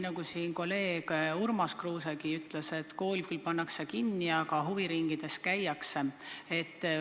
Nagu kolleeg Urmas Kruusegi ütles: kool küll pannakse kinni, aga huviringides käiakse.